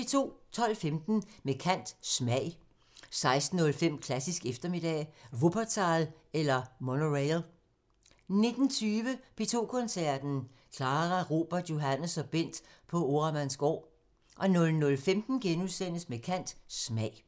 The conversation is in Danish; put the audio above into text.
12:15: Med kant – Smag 16:05: Klassisk eftermiddag – Wuppertal eller monorail 19:20: P2 Koncerten – Clara, Robert, Johannes og Bent på Oremandsgaard 00:15: Med kant – Smag *